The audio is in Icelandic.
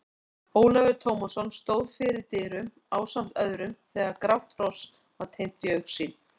Ólafur Tómasson stóð fyrir dyrum ásamt öðrum þegar grátt hross var teymt í augsýn.